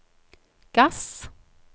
gass